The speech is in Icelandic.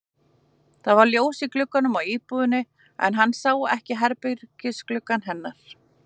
Það var ljós í gluggunum í íbúðinni en hann sá ekki herbergisgluggann hennar.